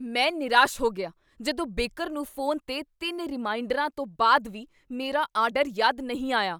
ਮੈਂ ਨਿਰਾਸ਼ ਹੋ ਗਿਆ ਜਦੋਂ ਬੇਕਰ ਨੂੰ ਫ਼ੋਨ 'ਤੇ ਤਿੰਨ ਰੀਮਾਈਂਡਰਾਂ ਤੋਂ ਬਾਅਦ ਵੀ ਮੇਰਾ ਆਰਡਰ ਯਾਦ ਨਹੀਂ ਆਇਆ